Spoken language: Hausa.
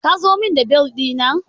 Ka zo mun da bel ɗina?